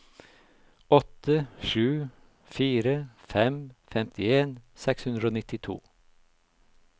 åtte sju fire fem femtien seks hundre og nittito